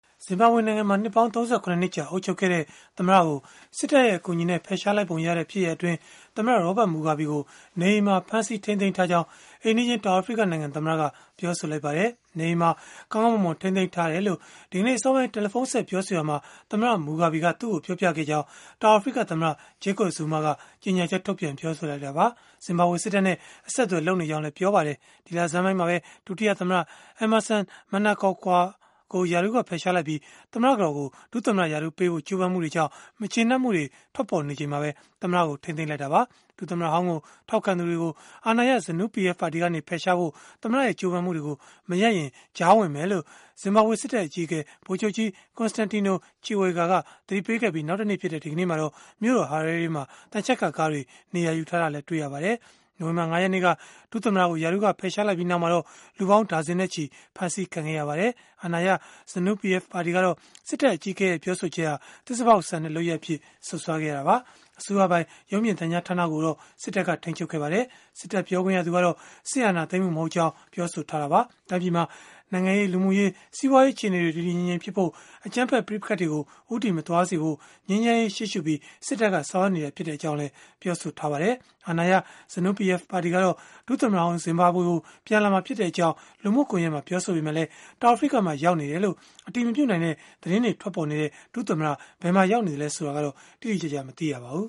ဇင်ဘာဘွေနိုင်ငံမှာ နှစ်ပေါင်း ၃၇ နှစ်ကြာ အုပ်ချုပ်ခဲ့တဲ့ သမ္မတကို စစ်တပ်ရဲ့ အကူအညီနဲ့ ဖယ်ရှားလိုက်ပုံရတဲ့ ဖြစ်ရပ်အတွင်း သမ္မတ Robert Mugabe ကို နေအိမ်မှာ ဖမ်းဆီးထိန်းသိမ်းထားကြောင်း အိမ်နီးချင်း တောင်အာဖရိကနိုင်ငံ သမ္မတက ပြောဆိုလိုက်ပါတယ်။ နေအိမ်မှာပဲ ကောင်းကောင်းမွန်မွန် ထိန်းသိမ်းထားတယ်လို့၊ ဒီကနေ့အစောပိုင်း တယ်လီဖုန်းဆက် ပြောဆိုရာမှာ သမ္မတ Mugabe က သူ့ကို ပြောပြခဲ့ကြောင်း တောင်အာဖရိကသမ္မတ Jacob Zuma က ကြေညာချက်ထုတ်ပြန် ပြောဆိုလိုက်တာပါ။ ဇင်ဘာဘွေစစ်တပ်နဲ့ အဆက်အသွယ် လုပ်နေကြောင်းလည်း ပြောဆိုခဲ့ပါတယ်။ ဒီလဆန်းပိုင်းမှာပဲ ဒုတိယသမ္မတ Emmerson Mnangagwa ကို ရာထူးက ဖယ်ရှားလိုက်ပြီး၊ သမ္မတကတော်ကို ဒုသမ္မတရာထူးပေးဖို့ ကြိုးပမ်းမှုတွေကြောင့် မကျေနပ်မှုတွေ ထွက်ပေါ်နေချိန်မှာပဲ သမ္မတကို ထိန်းသိမ်းလိုက်တာပါ။ ဒုသမ္မတဟောင်းကို ထောက်ခံသူတွေကို အာဏာရ ZANU PF ကနေ ဖယ်ရှားဖို့ သမ္မတရဲ့ ကြိုးပမ်းမှုတွေကို မရပ်ရင်၊ ကြားဝင်မယ်လို့ ဇင်ဘာဘွေစစ်တပ်အကြီးအကဲ ဗိုလ်ချုပ်ကြီး Constantino Chiwenga က သတိပေးခဲ့ပြီး နောက်တနေ့ဖြစ်တဲ့ ဒီကနေ့မှာတော့ မြို့တော် Harare မှာ သံချပ်ကာကားတွေ နေရာယူထားတာတွေ့ရပါတယ်။ နိုဝင်ဘာ ၅ ရက်နေ့က ဒုသမ္မတကို ရာထူးက ဖယ်ရှားလိုက်ပြီးနောက်မှာတော့ လူပေါင်းဒါဇင်နဲ့ချီ ဖမ်းဆီးခံခဲ့ရပါတယ်။ အာဏာရ ZANU PF ပါတီကတော့ စစ်တပ်အကြီးအကဲရဲ့ ပြောဆိုချက်ဟာ သစ္စာဖောက်ဆန်တဲ့ လုပ်ရပ်အဖြစ် စွပ်စွဲခဲ့တာပါ။ အစိုးရပိုင် ရုပ်မြင်သံကြားဌာနကိုတော့ စစ်တပ်က ထိန်းချုပ်ခဲ့ပါတယ်။ စစ်တပ်ပြောခွင့်ရသူကတော့ စစ်အာဏာသိမ်းမှု မဟုတ်ကြောင်း ပြောဆိုခဲ့တာပါ။ တိုင်းပြည်မှာ နိုင်ငံရေး၊ လူမှုရေး၊ စီးပွားရေး အခြေအနေတွေ တည်တည်ငြိမ်ငြိမ်ဖြစ်ဖို့၊ အကြမ်းဖက် ပဋိပက္ခတွေကို ဦးတည်မသွားစေဖို့ ငြိမ်းချမ်းရေးကို ရှေ့ရှုပြီး စစ်တပ်က ဆောင်ရွက်နေတာသာ ဖြစ်ကြောင်းလည်း ပြောဆိုခဲ့ပါတယ်။ အာဏာရ ZANU PF ပါတီကတော့ ဒုသမ္မတဟောင်း ဇင်ဘာဘွေကို ပြန်လာမှာဖြစ်ကြောင်း လူမှုကွန်ယက်မှာ ပြောဆိုခဲ့ပေမဲ့၊ တောင်အာဖရိကမှာ ရောက်နေတယ်လို့ အတည်မပြုနိုင်တဲ့ သတင်းတွေ ထွက်ပေါ်နေတဲ့ ဒုသမ္မတ ဘယ်မှာရောက်နေသလဲ ဆိုတာကတော့ တိတိကျကျ မသိရပါဘူး